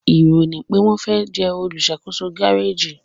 Irọ́ni pé wọ́n fẹ́ jẹ olùṣàkóso gáréjì